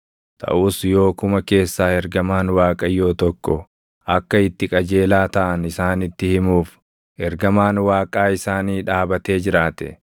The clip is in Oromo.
Taʼus yoo kuma keessaa ergamaan Waaqayyoo tokko akka itti qajeelaa taʼan isaanitti himuuf, ergamaan Waaqaa isaanii dhaabatee jiraate,